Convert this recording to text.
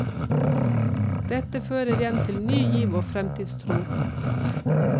Dette fører igjen til ny giv og fremtidstro.